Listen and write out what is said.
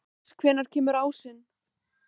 Venus, hvenær kemur ásinn?